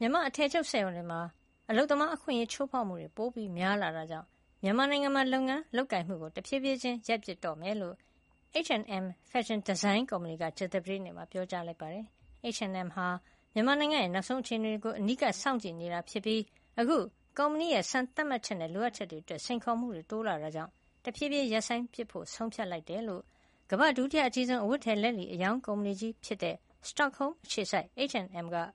မြန်မာ့အထည်ချုပ်စက်ရုံတွေမှာ အလုပ်သမားအခွင့်ရေးချိုးဖေါက်မှုပိုများလာတာကြောင့် မြန်မာနိုင်ငံမှာ လုပ်ငန်းလုပ်ကိုင်မှု ဖြည်းဖြည်းချင်းရပ်ပစ်တော့မှာ ဖြစ်ကြောင်း H&M ဖက်ရှင်ဒီဇိုင်းကုမ္ပဏီက ကြာသပတေးနေ့မှာ ပြောပါတယ်။ H&M ဟာ မြန်မာနိုင်ငံရဲ့နောက်ဆုံးအခြေနေတွေကို အနီးကပ်စောင့်ကြည့်နေတာ ဖြစ်ပြီး အခုကုမ္ပဏီရဲ့ စံသတ်မှတ်ချက်နဲ့ လိုအပ်ချက်တွေအတွက် စိန်ခေါ်မှုတွေ တိုးလာတာကြောင့် တဖြည်းဖြည်းရပ်ဆိုင်းပစ်ဖို့ ဆုံးဖြတ်လိုက်တယ်လို့ ကမ္ဘာ့ ဒုတိယအကြီးဆုံး အဝတ်အထည် လက်လီအရောင်းကုမ္ပဏီကြီးဖြစ်တဲ့ Stockholm အခြေစိုက် H&M က ကုမ္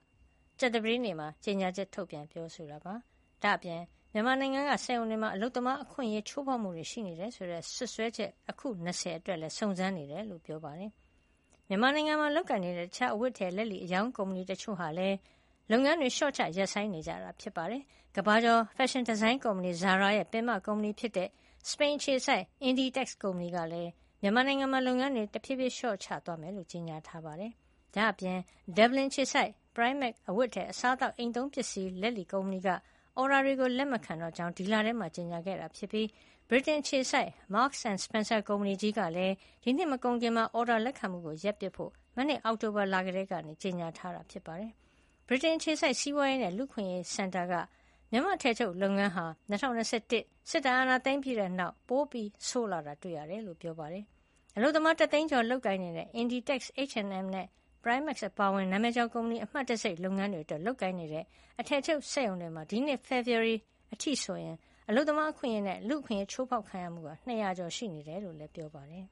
ပဏီက ကြာသပတေးနေ့မှာ ကြေညာချက် ထုတ်ပြန်ပါတယ်။ ဒါ့ပြင် မြန်မာနိုင်ငံကစက်ရုံတွေမှာ အလုပ်သမားအခွင့်အရေးချိုးဖေါက်မှုရှိတယ်ဆိုတဲ့စွပ်စွဲချက် အခု ၂၀ အတွက်လည်း စုံစမ်းနေကြောင်း ပြောပါတယ်။ မြန်မာနိုင်ငံမှာလုပ်ကိုင်နေတဲ့ တခြားအဝတ်အထည် လက်လီအရောင်းကုမ္ပဏီ တချို့ဟာလည်း လုပ်ငန်းတွေလျှော့ချ ရပ်ဆိုင်းနေကြတာပါ။ ကမ္ဘာကျော် ဖက်ရှင်ဒီဇိုင်းကုမ္ပဏီ Zara ရဲ့ ပင်မကုမ္ပဏီဖြစ်တဲ့ စပိန်အခြေစိုက် Inditex ကုမ္ပဏီကလည်း မြန်မာနိုင်ငံမှာ လုပ်ငန်းတွေ တဖြည်းဖြည်းလျှော့ချသွားမှာ ဖြစ်ကြောင်း ကြေညာထားပါတယ်။ ဒါ့ပြင် Dublin အခြေစိုက် Primark အဝတ်အထည် အစားအသောက်နဲ့ အိမ်သုံးပစ္စည်း လက်လီကုမ္ပဏီက အော်ဒါတွေလက်မခံတော့ကြောင်း ဒီလထဲမှာပဲ ကြေညာခဲ့ပြီး ဗြိတိန်အခြေစိုက် Marks & Spencer ကုမ္ပဏီကြီးကလည်း ဒီနှစ်မကုန်ခင် အော်ဒါလက်ခံမှုရပ်ပစ်ဖို့ မနှစ် အောက်တိုဘာလ ကတည်းက ကြေညာထားတာပါ။ ဗြိတိန်အခြေစိုက် စီးပွါးရေးနဲ့ လူ့အခွင့်ရေးဆိုင်ရာစင်တာက မြန်မာ့အထည်ချုပ်လုပ်ငန်းဟာ ၂၀၂၁ စစ်တပ်အာဏာသိမ်းပြီးတဲ့နောက် ပိုဆိုးလာတာတွေ့ရတယ်လို့ ပြောပါတယ်။ အလုပ်သမား ၁ သိန်းကျော်လုပ်ကိုင်နေတဲ့ Inditex, H&M နဲ့ Primark အပါအဝင် နာမည်ကျော်ကုမ္ပဏီ အမှတ်တံဆိပ်လုပ်ငန်းတွေအတွက် လုပ်ကိုင်နေတဲ့ အထည်ချုပ်စက်ရုံတွေမှာ ဒီနှစ် ဖေဖေါ်ဝါရီလအထိဆို အလုပ်သမားအခွင့်အရေး နဲ့ လူ့အခွင့်ရေးအချိုးဖေါက်ခံရမှု ၂၀၀ ကျော်ရှိနေတယ်လို့ ဖေါ်ပြထားပါတယ်။